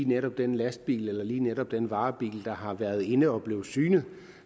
netop den lastbil eller netop den varebil der har været inde at blive synet